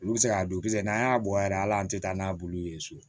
Olu bɛ se k'a don kisɛ n'an y'a bɔ yɛrɛ ala an tɛ taa n'a bulu ye so